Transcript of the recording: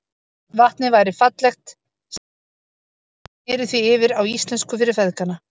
Vatnið væri fallegt, sagði Valdimar, og ég sneri því yfir á íslensku fyrir feðgana.